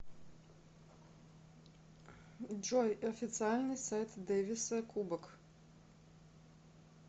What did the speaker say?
джой официальный сайт дэвиса кубок